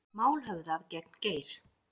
Mál höfðað gegn Geir